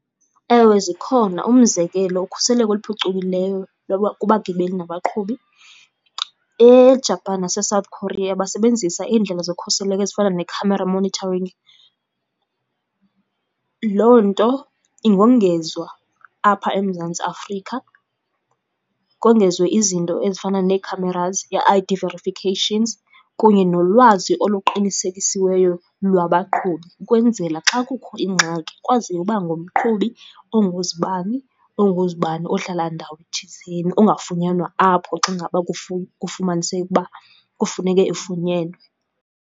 Ewe zikhona. Umzekelo, ukhuseleko oluphucukileyo loba kubagibeli nabaqhubi eJapan naseSouth Korea basebenzisa iindlela zokhuseleko ezifana ne-camera monitoring. Loo nto ingongezwa apha eMzantsi Afrika, kongezwe izinto ezifana nee-cameras, ii-I_D verifications kunye nolwazi oluqinisekisiweyo lwabaqhubi, ukwenzela xa kukho ingxaki kwaziwe uba ngumqhubi onguzibani, onguzibani ohlala ndawo thizeni ongafunyanwa apho xa ngaba kufumaniseke uba kufuneke efunyenwe.